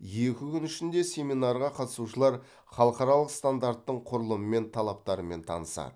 екі күн ішінде семинарға қатысушылар халықаралық стандарттың құрылымы мен талаптарымен танысады